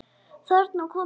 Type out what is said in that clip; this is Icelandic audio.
Þarna kom það!